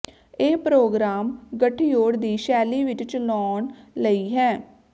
ਇਹ ਪ੍ਰੋਗਰਾਮ ਗਠਜੋੜ ਦੀ ਸ਼ੈਲੀ ਵਿੱਚ ਚਲਾਉਣ ਲਈ ਹੈ